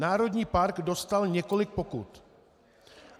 Národní park dostal několik pokut.